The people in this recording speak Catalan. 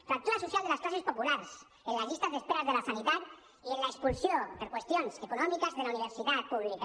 fractura social de les classes populars en les llistes d’espera de la sanitat i en l’expulsió per qüestions econòmiques de la universitat pública